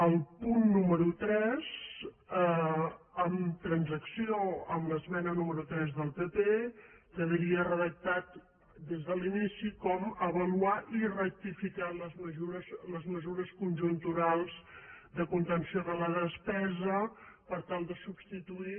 el punt número tres amb transacció amb l’esmena número tres del pp quedaria redactat des de l’inici com avaluar i rectificar les mesures conjunturals de contenció de la despesa per tal de substituir